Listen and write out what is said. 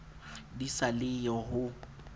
di sa le yo ho